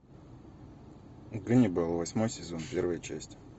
ганнибал восьмой сезон первая часть